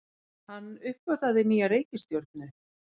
Hann uppgötvaði nýja reikistjörnu!